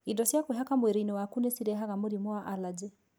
Indo cia kwĩhaka mwĩrĩinĩ waku nĩ cirehaga mũrimũ wa allergy.